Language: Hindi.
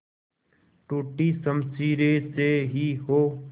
टूटी शमशीरें से ही हो